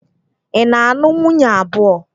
Ị na-anụ nwunye abụọ?